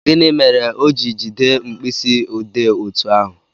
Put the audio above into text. Gịnị mere o ji jide mkpịsị odee otú ahụ?